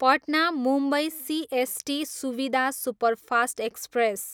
Patna, Mumbai CST Suvidha superfast express